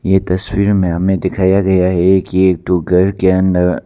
ये तस्वीर में हमें दिखाया गया है की एक डुगर के अंदर--